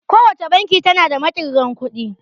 Kowace banki tana da maƙirgan kuɗi